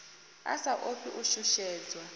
a sa ofhi u shushedzwa